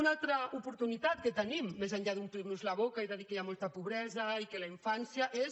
una altra oportunitat que tenim més enllà d’omplir nos la boca i de dir que hi ha molta pobresa i que la infància és